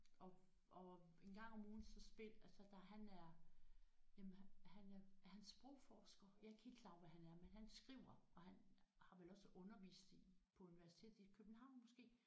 Og og engang om ugen så spil altså der han er jamen han er han er sprogforsker jeg er ikke helt klar over hvad han er men han skriver og han har vel også undervist i på universitetet i København måske